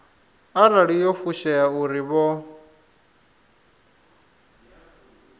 arali yo fushea uri vho